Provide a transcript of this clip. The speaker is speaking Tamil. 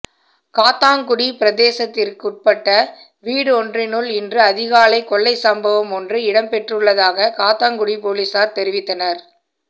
காத்தான்குடி பிரதேசத்திற்குட்பட்ட வீடொன்றினுள் இன்று அதிகாலை கொள்ளைச் சம்பவம் ஒன்று இடம்பெற்றுள்ளதாக காத்தான்குடி பொலிஸார் தெரிவித்தனர்